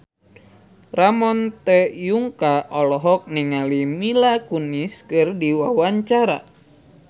Ramon T. Yungka olohok ningali Mila Kunis keur diwawancara